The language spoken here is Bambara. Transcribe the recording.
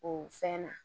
O fɛn na